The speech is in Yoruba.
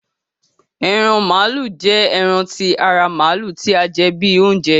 Eran malu jẹ ẹran ti ara Maalu ti a jẹ bi ounjẹ